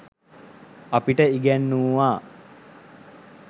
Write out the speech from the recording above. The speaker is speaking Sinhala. අපිට ඉගැන්නූවා.